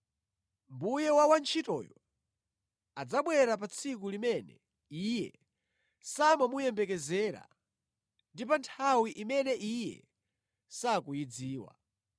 Mbuye wa wantchitoyo adzabwera pa tsiku limene iye samamuyembekezera ndi pa nthawi imene iye sakuyidziwa.